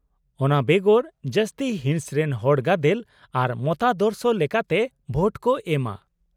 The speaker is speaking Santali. -ᱚᱱᱟ ᱵᱮᱜᱚᱨ ᱡᱟᱹᱥᱛᱤ ᱦᱤᱥ ᱨᱮᱱ ᱦᱚᱲ ᱜᱟᱫᱮᱞ ᱟᱨ ᱢᱚᱛᱟᱫᱚᱨᱥᱚ ᱞᱮᱠᱟᱛᱮ ᱵᱷᱳᱴ ᱠᱚ ᱮᱢᱟ ᱾